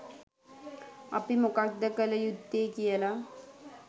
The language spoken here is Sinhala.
අපි මොකක්ද කළ යුත්තේ කියලා